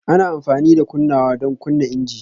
Ana amfani da kunnawa don kunna injin